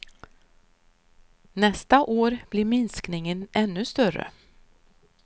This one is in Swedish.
Nästa år blir minskningen ännu större.